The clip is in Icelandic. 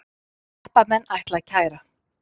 Jeppamenn ætla að kæra